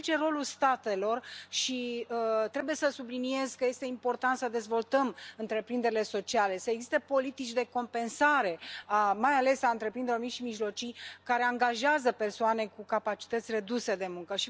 Însă aici este rolul statelor și trebuie să subliniez că este important să dezvoltăm întreprinderile sociale, să existe politici de compensare, mai ales a întreprinderilor mici și mijlocii care angajează persoane cu capacității reduse de muncă.